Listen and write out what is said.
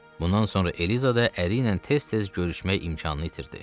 Bundan sonra Eliza da əriylə tez-tez görüşmək imkanını itirdi.